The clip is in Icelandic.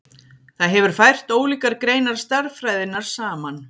það hefur fært ólíkar greinar stærðfræðinnar saman